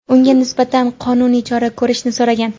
unga nisbatan qonuniy chora ko‘rishni so‘ragan.